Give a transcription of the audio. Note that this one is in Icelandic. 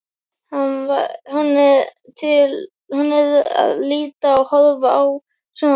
Hún er að lita og horfa á sjónvarpið.